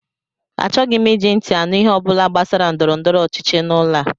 Achọghị m iji ntị anụ ihe ọ bụla gbasara ndọrọndọrọ ọchịchị n'ụlọ a!